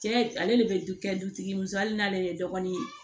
Cɛ ale de bɛ du kɛ dutigi muso hali n'ale ye dɔgɔnin ye